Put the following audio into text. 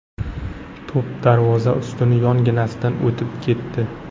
To‘p darvoza ustuni yonginasidan o‘tib ketdi.